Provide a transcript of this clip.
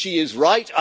She is right.